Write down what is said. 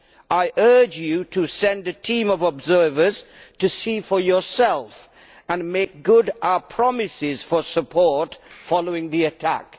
I urge you to send a team of observers to see for yourself and to make good on our promises for support following the attack.